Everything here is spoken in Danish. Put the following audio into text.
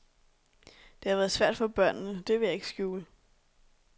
Det har været svært for børnene, det vil jeg ikke skjule.